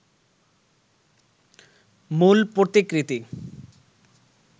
মূল প্রতিকৃতি